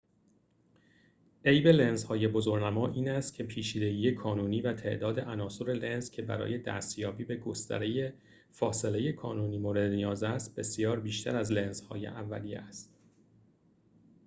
عیب لنزهای بزرگنما این است که پیچیدگی کانونی و تعداد عناصر لنز که برای دستیابی به گستره فاصله کانونی مورد نیاز است بسیار بیشتر از لنزهای اولیه است